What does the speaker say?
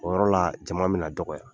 O yɔrɔ la jama minna dɔgɔya